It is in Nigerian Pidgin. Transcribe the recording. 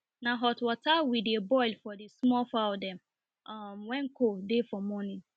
na hot water we dey boil for the small fowl dem um when cold dey for morning